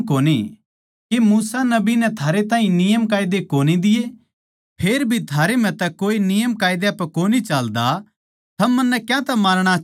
के मूसा नबी नै थारैताहीं नियमकायदे कोनी दिये फेरभी थारैम्ह तै कोए नियमकायदा पै कोनी चाल्दा थम मन्नै क्यातै मारणा चाहो सो